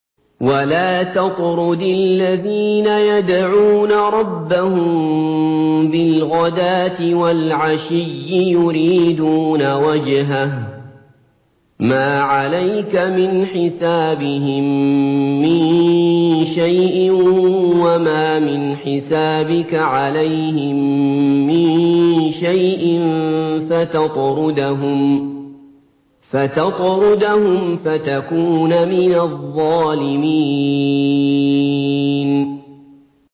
وَلَا تَطْرُدِ الَّذِينَ يَدْعُونَ رَبَّهُم بِالْغَدَاةِ وَالْعَشِيِّ يُرِيدُونَ وَجْهَهُ ۖ مَا عَلَيْكَ مِنْ حِسَابِهِم مِّن شَيْءٍ وَمَا مِنْ حِسَابِكَ عَلَيْهِم مِّن شَيْءٍ فَتَطْرُدَهُمْ فَتَكُونَ مِنَ الظَّالِمِينَ